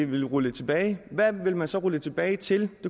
vil rulle det tilbage hvad vil man så rulle det tilbage til det